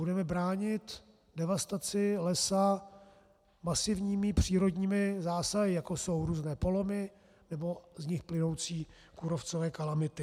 Budeme bránit devastaci lesa masivními přírodními zásahy, jako jsou různé polomy nebo z nich plynoucí kůrovcové kalamity.